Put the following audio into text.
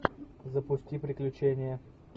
запусти приключения